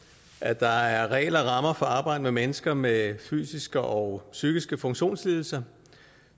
at der er regler og rammer for at arbejde med mennesker med fysiske og psykiske funktionslidelser